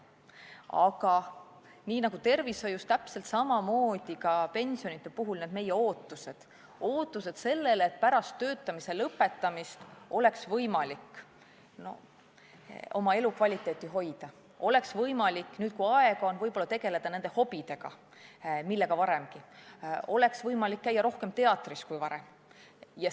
Aga nii nagu on tervishoius ootustega, täpselt samamoodi on ka pensioni puhul ootused, et pärast töötamise lõpetamist oleks võimalik oma elukvaliteeti hoida, oleks võimalik nüüd, kui aega on, tegeleda hobidega, millega tegeldi varemgi, oleks võimalik näiteks käia rohkem teatris kui varem.